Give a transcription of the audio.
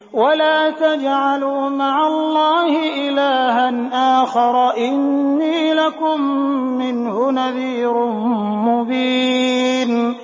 وَلَا تَجْعَلُوا مَعَ اللَّهِ إِلَٰهًا آخَرَ ۖ إِنِّي لَكُم مِّنْهُ نَذِيرٌ مُّبِينٌ